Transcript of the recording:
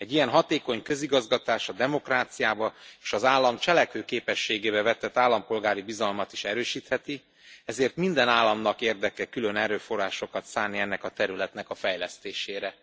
Egy ilyen hatékony közigazgatás a demokráciába és az állam cselekvőképességébe vetett állampolgári bizalmat is erősítheti, ezért minden államnak érdeke külön erőforrásokat szánni ennek a területnek a fejlesztésére.